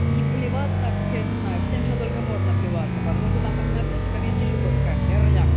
и плеваться как я не знаю всем чем только можно плеваться потому что там понимаю пёсиков есть ещё какахи